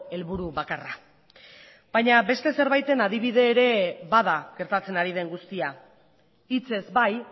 helburu bakarra baina beste zerbaiten adibide ere bada gertatzen ari den guztia hitzez bai